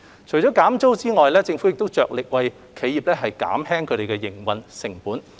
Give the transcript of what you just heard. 除減租外，政府亦着力為企業減輕營運成本。